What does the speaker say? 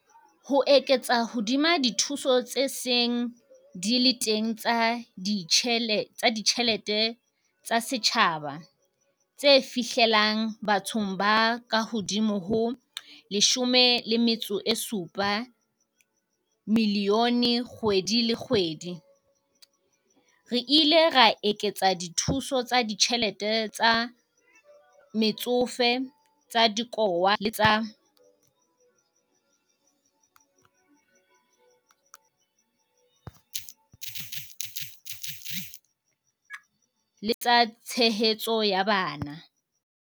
Ho eketsa hodima dithuso tse seng di le teng tsa ditjhe lete tsa setjhaba, tse fihlellang bathong ba kahodimo ho 17 milione kgwedi le kgwedi, re ile ra eketsa dithuso tsa ditjhelete tsa Metsofe, tsa Dikowa le tsa Tshehetso ya Bana.